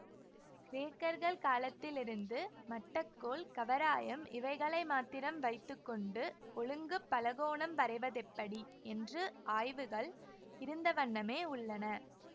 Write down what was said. கிரேக்கர்கள் காலத்திலிருந்து மட்டக்கோல் கவராயம் இவைகளை மாத்திரம் வைத்து கொண்டு ஒழுங்கு பலகோணம் வரைவதெப்படி என்று ஆய்வுகள் இருந்தவண்ணமே உள்ளன